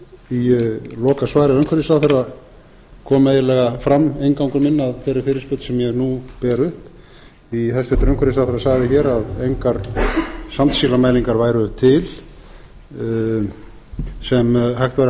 í lokasvari umhverfisráðherra kom eiginlega fram inngangur minn að þeirri fyrirspurn sem ég nú ber upp því hæstvirtur umhverfisráðherra sagði hér að engar sandsílismælingar væru til sem hægt væri að